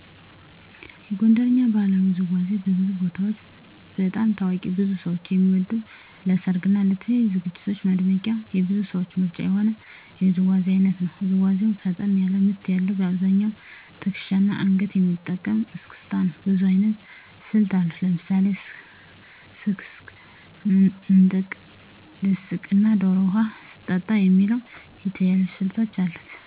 የጎንደርኛ ባህላዊ ውዝዋዜ በብዙ ቦታዎች በጣም ታዋቂ ብዙ ሰው የሚወደው ለሰርግ እና ለተለያዩ ዝግጅቶች ማድመቂያ የብዙ ሰዎች ምርጫ የሆነ የውዝዋዜ አይነት ነው። ውዝዋዜው ፈጠን ያለ ምት ያለዉ : በአብዛኛው ትክሻና አንገትን የሚጠቀም እስክስታ ነው። ብዙ አይነት ስልቶች አሉት። ለምሳሌ ስክስክ፣ ምንጥቅ፣ ድስቅ እና ዶሮ ውሃ ስትጠጣ የሚባሉ የተለያዩ ስልቶች አሉት።